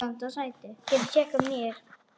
Missti trúna á lífið.